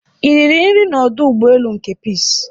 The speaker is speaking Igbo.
I riri nri n'ọdụ ụgbọelu nke Peace?